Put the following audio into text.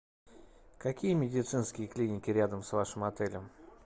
какие медицинские клиники рядом с вашим отелем